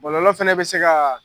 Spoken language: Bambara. Bɔlɔlɔ fana bɛ se ka